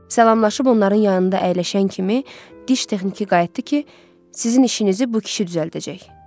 Salamlaşıb onların yanında əyləşən kimi diş texniki qayıtdı ki, sizin işinizi bu kişi düzəldəcək.